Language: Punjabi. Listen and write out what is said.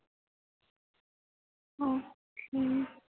ਅਹ